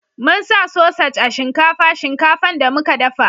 mun sa sosaj a shinkafa shinkafan da muka dafa